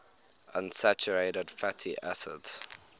unsaturated fatty acids